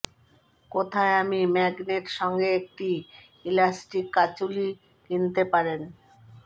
কোথায় আমি ম্যাগনেট সঙ্গে একটি ইলাস্টিক কাঁচুলি কিনতে পারেন